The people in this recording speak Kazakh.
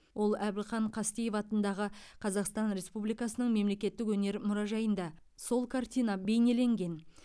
ол әбілхан қастеев атындағы қазақстан республикасының мемлекеттік өнер мұражайында сол картина бейнеленген